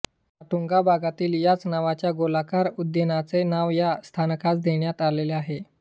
माटुंगा भागातील याच नावाच्या गोलाकार उद्यानाचे नाव या स्थानकास देण्यात आलेले आहे